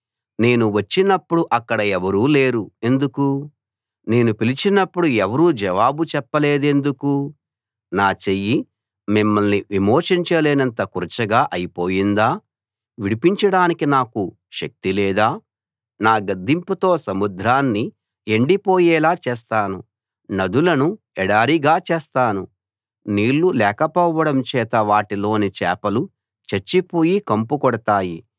నేను వచ్చినప్పుడు అక్కడ ఎవరూ లేరు ఎందుకు నేను పిలిచినప్పుడు ఎవరూ జవాబు చెప్పలేదెందుకు నా చెయ్యి మిమ్మల్ని విమోచించలేనంత కురచగా అయి పోయిందా విడిపించడానికి నాకు శక్తి లేదా నా గద్దింపుతో సముద్రాన్ని ఎండిపోయేలా చేస్తాను నదులను ఎడారిగా చేస్తాను నీళ్లు లేకపోవడం చేత వాటిలోని చేపలు చచ్చిపోయి కంపుకొడతాయి